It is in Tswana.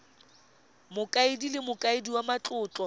mokaedi le mokaedi wa matlotlo